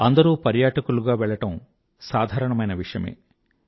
అందరూ పర్యాటకులుగా వెళ్లడం సాధారణమైన విషయమే